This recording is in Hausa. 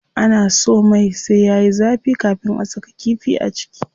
Ana so mai sai yayi zafi kafin a saka kifi a ciki.